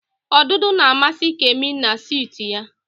Odudu na-amasị Kemi na sịtịụ ya.